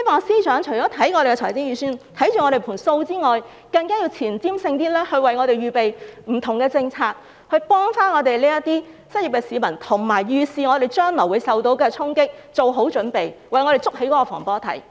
司長除要檢視財政預算這盤帳目外，更須具前瞻性，為我們預備不同的政策，協助這些失業的市民，並預示本港將會受到的衝擊，為此作好準備，為我們築起防火堤。